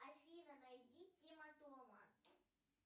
афина найди тима тома